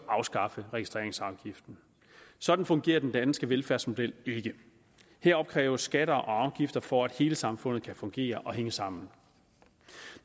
afskaffe registreringsafgiften sådan fungerer den danske velfærdsmodel ikke her opkræves der skatter og afgifter for at hele samfundet kan fungere og kan hænge sammen